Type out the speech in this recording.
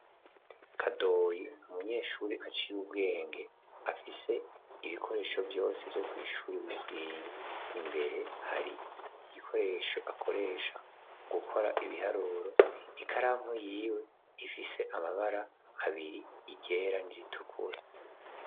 Kadoli umunyeshuri aciye ubwenge afise ibikoresho vyose vyo kw'ishuri bikwiye imbere hari igikoresho akoresha mu gukora ibiharoro ikaranku yiwe ifise amabara abiri igera n'igitukuru.